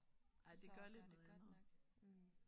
Ej det gør lidt noget andet